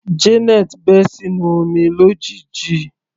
Janet bẹ́ sínú omi lójijì.